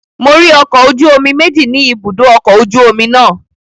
Mo rí ọkọ̀ ojú omi méjì ni ibùdó ọkọ̀ ojú omi náà